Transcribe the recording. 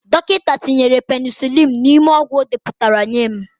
Dọkịta tinyere penisilinu n'ime ọgwụ ndị o depụtara nye m.